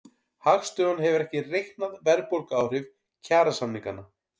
Hagstofan hefur ekki reiknað verðbólguáhrif kjarasamninganna